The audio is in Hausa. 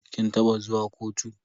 Kin taba zuwa kotu?